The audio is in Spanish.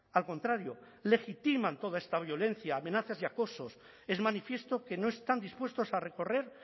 al contrario legitiman toda esta violencia amenazas y acosos es manifiesto que no están dispuestos a recorrer